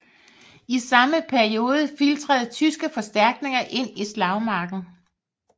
I samme periode filtrerede tyske forstærkninger ind i slagmarken